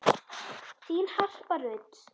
Þín Harpa Rut.